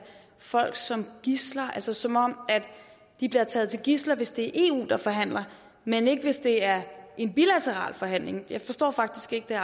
folk som gidsler altså som om de bliver taget som gidsler hvis det er eu der forhandler men ikke hvis det er en bilateral forhandling jeg forstår faktisk ikke